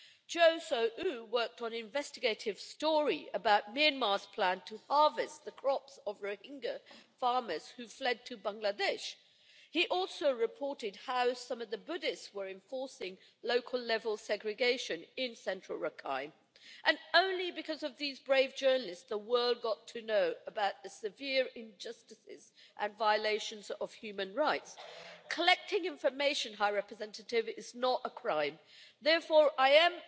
Kyaw Soe Oo worked on an investigative story about Myanmar's plan to harvest the crops of Rohingya farmers who fled to Bangladesh. He also reported how some Buddhists were enforcing local level segregation in central Rakhine. And it was only because of these brave journalists that the world got to know about the severe injustices and violations of human rights. Collecting information, High Representative, is not a crime, therefore I